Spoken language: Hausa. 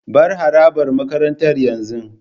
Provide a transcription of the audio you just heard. Bar harabar makarantar yanzu.